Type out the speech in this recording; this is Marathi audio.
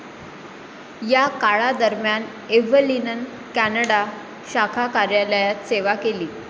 या काळादरम्यान एव्हलिननं कॅनडा शाखा कार्यालयात सेवा केली.